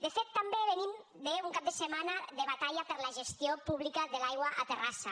de fet també venim d’un cap de setmana de batalla per la gestió pública de l’aigua a terrassa